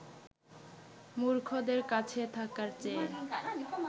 মূর্খদের কাছে থাকার চেয়ে